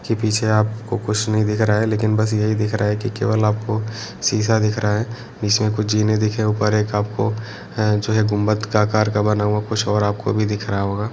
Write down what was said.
की पिछे आपको कुछ नही दिख रहा है लेकिन बस यही दिख रहा है की केवल आपको शीशा दिख रहा है इसमे कुछ जीने दिखे ऊपर एक आपको है जो है गुम्मद का आकार का बना हुआ कुछ और आपको भी दिख रहा होगा ।